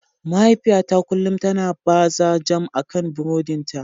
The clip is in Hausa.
Mahaifiyata kullum tana baza jam akan buroɗin ta.